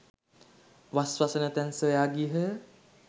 වස් වසන තැන් සොයා ගියහ.